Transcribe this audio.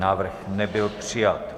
Návrh nebyl přijat.